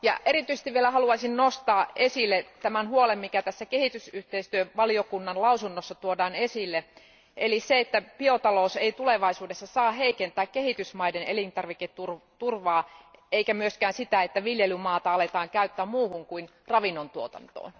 Erityisesti haluaisin vielä nostaa esille tämän huolen, mikä tässä kehitysyhteistyövaliokunnan lausunnossa tuodaan esille, eli sen, että biotalous ei tulevaisuudessa saa heikentää kehitysmaiden elintarviketurvaa, eikä myöskään sitä, että viljelymaata aletaan käyttää muuhun kuin ravinnon tuotantoon.